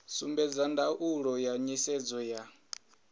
sumbedza ndaulo ya nisedzo ya